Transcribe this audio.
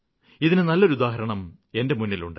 ഇതിന് നല്ലൊരു ഉദാഹരണം എന്റെ മുന്നിലുണ്ട്